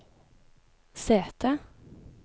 sete